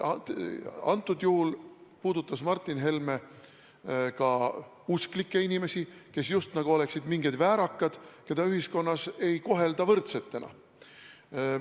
Kõnealusel juhul puudutas Martin Helme ka usklikke, kes oleksid justkui mingid väärakad, keda ühiskonnas ei kohelda võrdsetena.